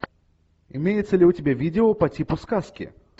имеется ли у тебя видео по типу сказки